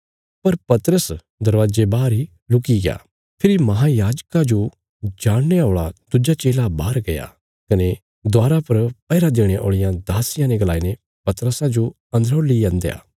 पर पतरस दरवाजे बाहर इ रुकिग्या फेरी महायाजका जो जाणने औल़ा दुज्जा चेला बाहर गया कने दवारा पर पैहरा देणे औल़िया दासिया ने गलाई ने पतरसा जो अन्दरौ ली अन्दया